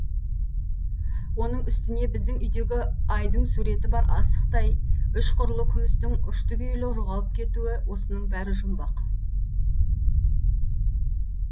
оның үстіне біздің үйдегі айдың суреті бар асықтай үш қырлы күмістің ұшты күйлі жоғалып кетуі осының бәрі жұмбақ